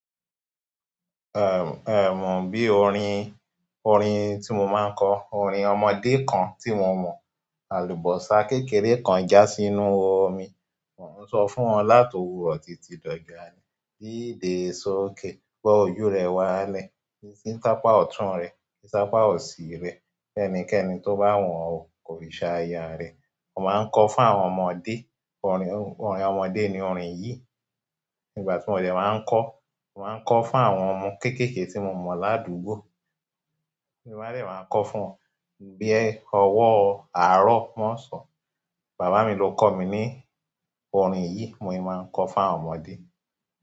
Ehn, ehn, bí orin, orin tí mo máa ń kọ, orin ọmọdé kan tí mo mọ̀. Àlùbọ́sà kékeré kan já sí inú omi, mò ń sọ fún ọ láti òwúrọ̀ títí dọ̀jù àárọ̀. Díde sókè, gbo ojú rẹ wálẹ̀, yí sí ápa ọ̀tún rẹ̀, yí si ápa òsì rẹ̀. Ẹnikẹ́ni tó bá wun ọ́ o n kò fí ṣaya rẹ̀. Mo máa ń kọ fún àwọn ọmọdé. Orin, orin ọmọdé ni orin yìí. Ni ìgbà ti mo de ma n ko. Mo máa ń kọ fún àwọn ọmọ kéékèèké tí mo mọ̀ ládùúgbò. Ti n ba de máa kọ fún wan bi ọwọ́ árọ̀ mọ́ ọsàn. Bàbá mi ló kọ mi ní orin yìí, mo yìí máa ń kọ fún àwọn ọmọdé.